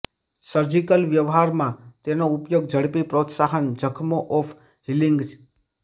surgical વ્યવહારમાં તેનો ઉપયોગ ઝડપી પ્રોત્સાહન જખમો ઓફ હીલિંગ